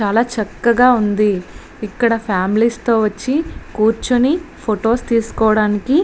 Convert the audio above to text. చాలా చక్కగా ఉంది. ఇక్కడ ఫామిలీస్ తో వచ్చి కూర్చొని ఫోట్స్ తీసుకోడానికి --